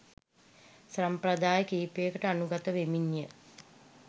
සම්ප්‍රදාය කීපයකට අනුගත වෙමින් ය.